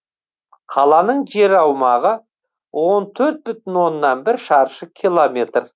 қаланың жер аумағы он төрт бүтін оннан бір шаршы километр